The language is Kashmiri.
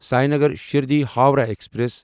سینگر شردی ہووراہ ایکسپریس